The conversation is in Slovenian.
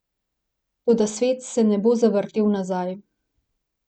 Toda svet se ne bo zavrtel nazaj.